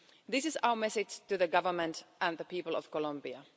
This is our message to the government and the people of Colombia.